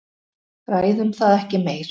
Ræðum það ekki meir.